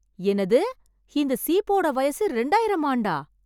என்னது, இந்தச் சீப்போட வயசு இரண்டாயிரம் ஆண்டா?